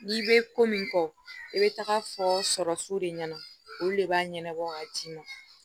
N'i bɛ ko min kɔ i bɛ taga fɔ sɔrɔ fu de ɲɛna olu de b'a ɲɛnabɔ ka ci na